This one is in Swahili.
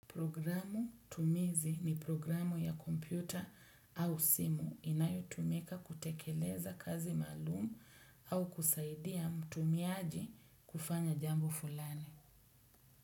Programu tumizi ni programu ya kompyuta au simu inayotumeka kutekeleza kazi maalum au kusaidia mtumiaji kufanya jambo fulani.